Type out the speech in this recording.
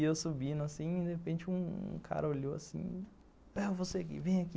E eu subindo assim, de repente um cara olhou assim, é você que vem aqui.